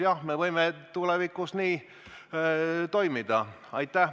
Jah, me võime tulevikus nii toimida.